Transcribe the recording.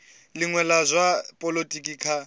linwe la zwa polotiki kha